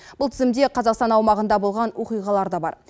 бұл тізімде қазақстан аумағында болған оқиғалар да бар